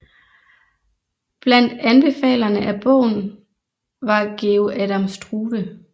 Blandt anbefalerne af bogen var Georg Adam Struve